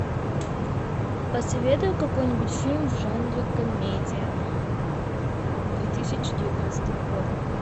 посоветуй какой нибудь фильм в жанре комедия две тысячи девятнадцатого года